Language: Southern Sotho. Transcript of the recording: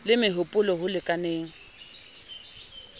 le meho polo ho lekaneng